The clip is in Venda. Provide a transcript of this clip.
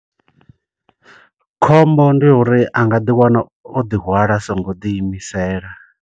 Khombo ndi uri anga ḓi wana o ḓihwala a songo ḓi imisela.